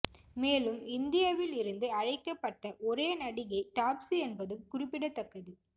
மேலும் இந்தியாவில் இருந்து அழைக்கப்பட்ட ஒரே நடிகை டாப்சி என்பதும் குறிப்பிடத்தக்கது